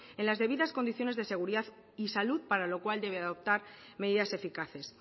en las debidas condiciones de seguridad y salud para lo cual debe de adoptar medidas eficaces